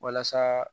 Walasa